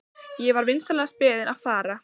Ég var vinsamlegast beðinn að fara.